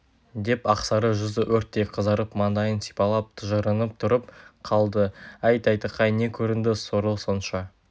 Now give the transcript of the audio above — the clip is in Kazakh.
деп ақсары жүзі өрттей қызарып маңдайын сипалап тыжырынып тұрып қалды әй тайтақай не көрінді сорлы сонша